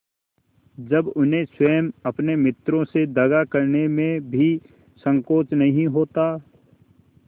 जब उन्हें स्वयं अपने मित्रों से दगा करने में भी संकोच नहीं होता